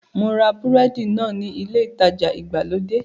Mo ra búrẹ́dì náà ní ilé ìtajà ìgbàlódé